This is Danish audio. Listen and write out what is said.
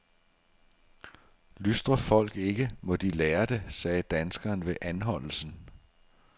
Lystrer folk ikke, må de lære det, sagde danskeren ved anholdelsen.